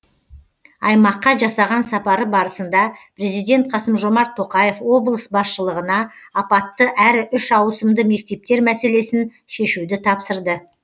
аймаққа жасаған сапары барысында президент қасым жомарт тоқаев облыс басшылығына апатты әрі үш ауысымды мектептер мәселесін шешуді тапсырды